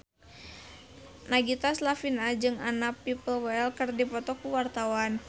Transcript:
Nagita Slavina jeung Anna Popplewell keur dipoto ku wartawan